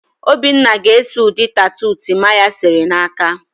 Obinna ga-ese ụdị tatu Timaya sere n'aka ya.